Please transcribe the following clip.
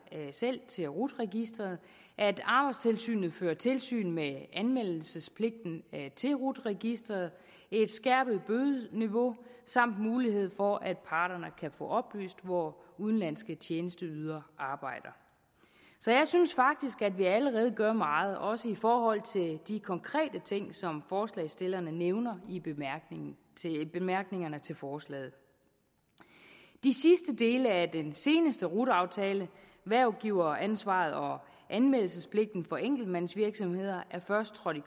selv til rut registeret at arbejdstilsynet fører tilsyn med anmeldelsespligten til rut registeret et skærpet bødeniveau samt mulighed for at parterne kan få oplyst hvor udenlandske tjenesteydere arbejder så jeg synes faktisk at vi allerede gør meget også i forhold til de konkrete ting som forslagsstillerne nævner i bemærkningerne til forslaget de sidste dele af den seneste rut aftale hvervgiveransvaret og anmeldelsespligten for enkeltmandsvirksomheder er først trådt i